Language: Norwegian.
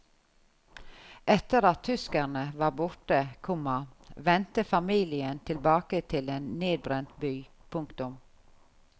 Etter at tyskerne var borte, komma vendte familien tilbake til en nedbrent by. punktum